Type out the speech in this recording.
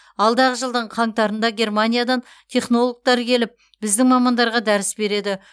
алдағы жылдың қаңтарында германиядан технологтар келіп біздің мамандарға дәріс береді